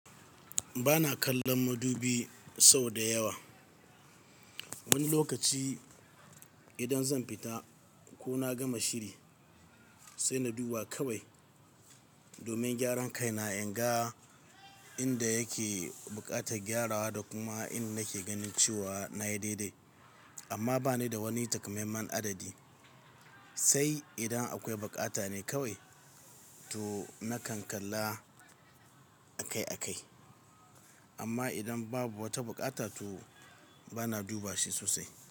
Ba na kallon madubi sau da yawa. Wani lokaci idan zan fita ko na gama shiri, sai na duba kawai domin gyaran kai. Na inga inda yake buƙatar gyarawa da kuma inda nake ganin cewa na yi daidai. Amma ba ni da wani takamaiman adadi. Sai idan akwai buƙata ne kawai, to na kan kalla akai-akai. Amma idan babu wata bukata, to ba na duba shi sosai.